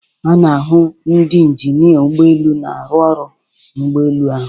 A na-ahụ ndị injinia ụgbọ elu na-arụ ọrụ n'ụgbọelu ahụ.